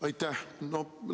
Aitäh!